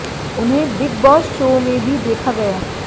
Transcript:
उन्हें Bigg Boss show में भी देखा गया